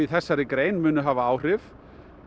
þessari grein munu hafa áhrif